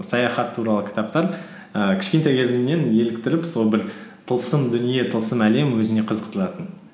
саяхат туралы кітаптар ііі кішкентай кезімнен еліктіріп сол бір тылсым дүние тылсым әлем өзіне қызықтыратын